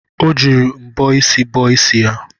Ọ jiri mbọ isi bọọ isi ya